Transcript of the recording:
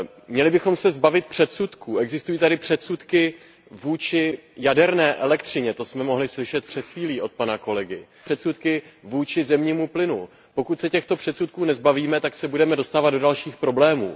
Měli bychom se zbavit předsudků, existují tady předsudky vůči jaderné elektřině, to jsme mohli slyšet před chvílí od pana kolegy. Existují zde předsudky vůči zemnímu plynu, pokud se těchto předsudků nezbavíme, tak se budeme dostávat do dalších problémů.